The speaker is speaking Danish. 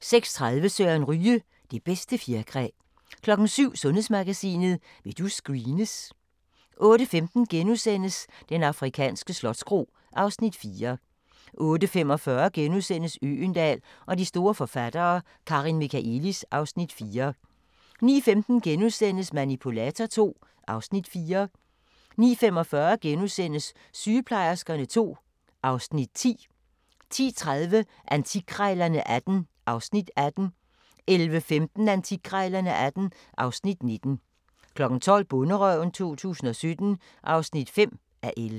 06:30: Søren Ryge: Det bedste fjerkræ 07:00: Sundhedsmagasinet: Vil du screenes? 08:15: Den afrikanske slotskro (Afs. 4)* 08:45: Øgendahl og de store forfattere: Karin Michaëlis (Afs. 4)* 09:15: Manipulator II (Afs. 4)* 09:45: Sygeplejerskerne II (Afs. 10)* 10:30: Antikkrejlerne XVIII (Afs. 18) 11:15: Antikkrejlerne XVIII (Afs. 19) 12:00: Bonderøven 2017 (5:11)